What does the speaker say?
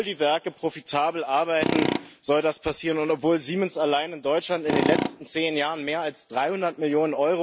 Obwohl die Werke profitabel arbeiten, soll das passieren, und obwohl Siemens allein in Deutschland in den letzten zehn Jahren mehr als 300 Mio.